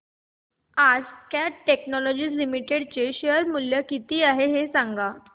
आज Cat technologies limited चे share चे मूल्य किती आहे सांगा